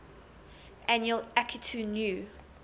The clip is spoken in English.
annual akitu new